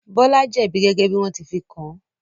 Bọ́lá jẹ̀bi gẹ́gẹ́ bí wọ́n ti fi kàn án.